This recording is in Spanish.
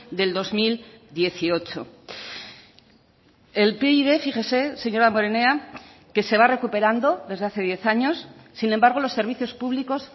del dos mil dieciocho el pib fíjese señor damborenea que se va recuperando desde hace diez años sin embargo los servicios públicos